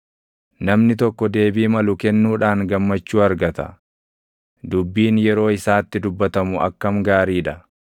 Namni tokko deebii malu kennuudhaan gammachuu argata; dubbiin yeroo isaatti dubbatamu akkam gaarii dha!